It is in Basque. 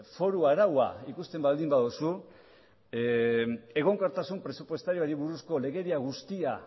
foru araua ikusten baldin baduzu egonkortasun presupuestarioari buruzko legedia guztia